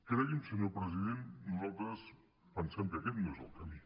cregui’m senyor president nosaltres pensem que aquest no és el camí